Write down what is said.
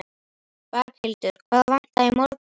Berghildur: Hvað vantaði í morgun?